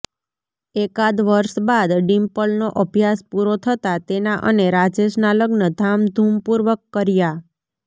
એકાદ વર્ષ બાદ ડિમ્પલનો અભ્યાસ પૂરો થતાં તેના અને રાજેશના લગ્ન ધામધૂમપૂર્વક કર્યા